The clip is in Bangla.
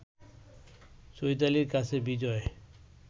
চৈতালির কাছে বিজয়